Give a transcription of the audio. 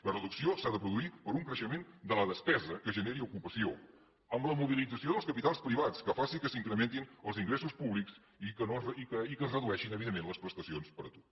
la reducció s’ha de produir per un creixement de la despesa que generi ocupació amb la mobilització dels capitals privats que faci que s’incrementin els ingressos públics i que es redueixin evidentment les prestacions per atur